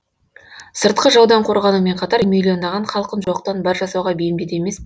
сыртқы жаудан қорғанумен қатар миллиондаған халқын жоқтан бар жасауға бейімдеді емес пе